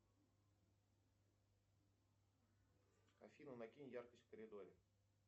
афина накинь яркость в коридоре